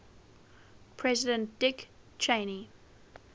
president dick cheney